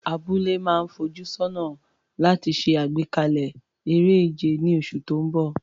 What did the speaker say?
Abúlé náà ń fojú sọ́nà láti ṣe àgbékalẹ̀ eré ìje ní oṣù tó ń bọ̀.